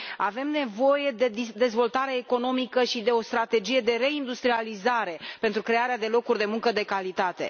Avem nevoie de dezvoltare economică și de o strategie de reindustrializare, pentru crearea de locuri de muncă de calitate.